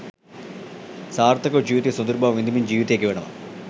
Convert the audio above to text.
සාර්ථකව ජීවිතේ සොදුරුබව විඳිමින් ජීවිතය ගෙවනවා.